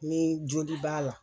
Ni joli b'a la.